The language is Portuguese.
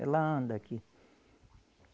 Ela anda aqui.